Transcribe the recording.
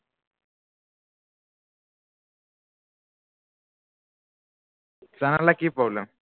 তেনেহলে কি problem